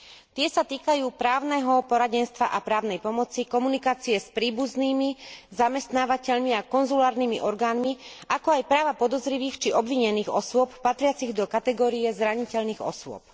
Tie sa týkajú právneho poradenstva a právnej pomoci, komunikácie s príbuznými, zamestnávateľmi a konzulárnymi orgánmi, ako aj práva podozrivých či obvinených osôb patriacich do kategórie zraniteľných osôb.